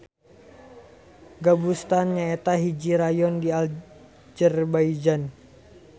Gobustan nyaeta hiji rayon di Azerbaijan.